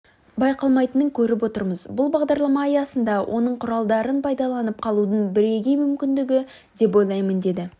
байқалмайтынын көріп отырмыз бұл бағдарлама аясында оның құралдарын пайдаланып қалудың бірегей мүмкіндігі деп ойлаймын деді